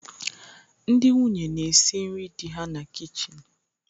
Ndị nwunye na-esi nri di ha na kichin